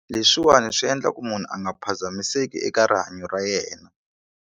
Leswiwani swi endla ku munhu a nga phazamiseki eka rihanyo ra yena.